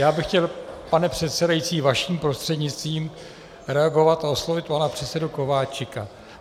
Já bych chtěl, pane předsedající, vaším prostřednictvím reagovat a oslovit pana předsedu Kováčika.